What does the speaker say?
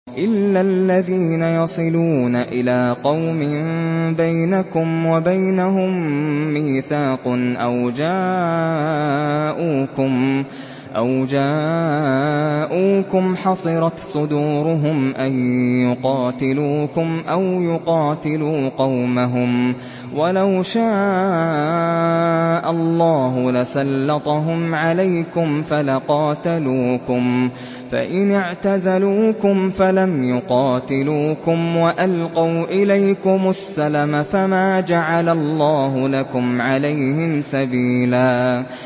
إِلَّا الَّذِينَ يَصِلُونَ إِلَىٰ قَوْمٍ بَيْنَكُمْ وَبَيْنَهُم مِّيثَاقٌ أَوْ جَاءُوكُمْ حَصِرَتْ صُدُورُهُمْ أَن يُقَاتِلُوكُمْ أَوْ يُقَاتِلُوا قَوْمَهُمْ ۚ وَلَوْ شَاءَ اللَّهُ لَسَلَّطَهُمْ عَلَيْكُمْ فَلَقَاتَلُوكُمْ ۚ فَإِنِ اعْتَزَلُوكُمْ فَلَمْ يُقَاتِلُوكُمْ وَأَلْقَوْا إِلَيْكُمُ السَّلَمَ فَمَا جَعَلَ اللَّهُ لَكُمْ عَلَيْهِمْ سَبِيلًا